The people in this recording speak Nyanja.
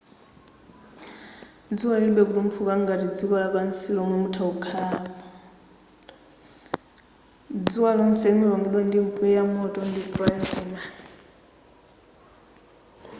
dzuwa lilibe kutumphuka ngati dziko lapansi lomwe mutha kuyimapo dzuwa lonse limapangidwa ndi mpweya moto ndi plasma